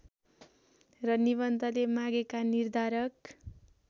र निबन्धले मागेका निर्धारक